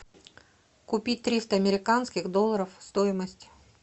купить триста американских долларов стоимость